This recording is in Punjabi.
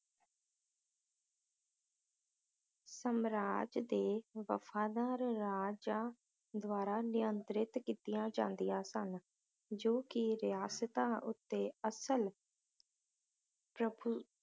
ਸਾਮਰਾਜ ਦੇ ਵਫ਼ਾਦਾਰ ਰਾਜਾ ਦਵਾਰਾ ਨਿਯੰਤ੍ਰਿਤ ਕੀਤੀਆਂ ਜਾਂਦੀਆਂ ਸਨ ਜੋ ਕਿ ਰਿਆਸਤਾਂ ਉੱਤੇ ਅਸਲ ਪ੍ਰਫ~